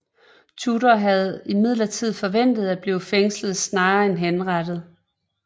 Tudor havde imidlertid forventet at blive fængslet snarere end henrettet